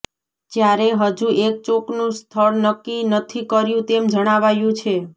જ્યારે હજુ એક ચોકનું સ્થળ નક્કી નથી કર્યું તેમ જણાવાયું છે